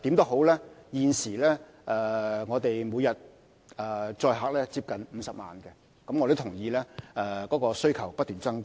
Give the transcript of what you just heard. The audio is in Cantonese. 輕鐵現時每天的載客量接近50萬人次，我亦認同需求正不斷增加。